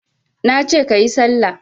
Nace kayi sallah